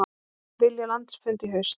Vilja landsfund í haust